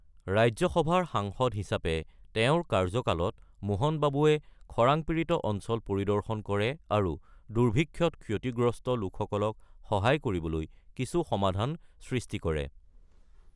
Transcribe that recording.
ৰাজ্যসভাৰ সাংসদ হিচাপে তেওঁৰ কাৰ্যকালত মোহন বাবুয়ে খৰাং পীড়িত অঞ্চল পৰিদৰ্শন কৰে আৰু দুৰ্ভিক্ষত ক্ষতিগ্ৰস্ত লোকসকলক সহায় কৰিবলৈ কিছু সমাধান সৃষ্টি কৰে।